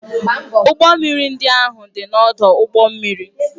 Ụgbọ mmiri ndị ahụ dị n'ọdụ ụgbọ mmiri.